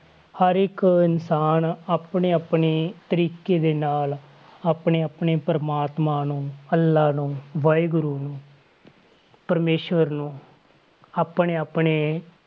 ਹਰ ਇੱਕ ਇਨਸਾਨ ਆਪਣੇ ਆਪਣੇ ਤਰੀਕੇ ਦੇ ਨਾਲ ਆਪਣੇ ਆਪਣੇ ਪ੍ਰਮਾਤਮਾ ਨੂੰ, ਅਲਾਹ ਨੂੰ, ਵਾਹਿਗੁਰੂ ਨੂੰ ਪ੍ਰਮੇਸ਼ਵਰ ਨੂੰ ਆਪਣੇ ਆਪਣੇ,